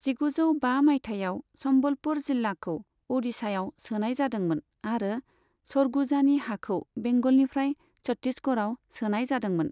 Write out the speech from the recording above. जिगुजौ बा मायथाइयाव, सम्बलपुर जिल्लाखौ अडिशायाव सोनाय जादोंमोन आरो सरगुजानि हाखौ बेंगलनिफ्राय छत्तीसगढ़आव सोनाय जादोंमोन।